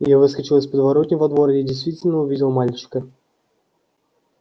я выскочил из подворотни во двор и действительно увидел мальчика